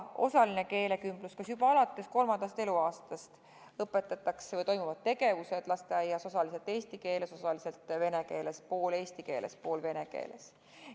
Osaline keelekümblus tähendab seda, et juba alates kolmandast eluaastast õpetatakse lasteaias osaliselt eesti keeles, osaliselt vene keeles, pool eesti keeles, pool vene keeles.